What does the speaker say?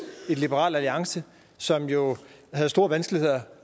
liberal alliance som jo havde store vanskeligheder